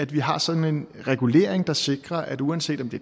vi har sådan en regulering der sikrer at uanset om det